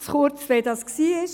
Kurz, wie es gewesen ist: